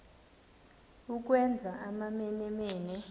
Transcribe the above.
ukwenza amamene mene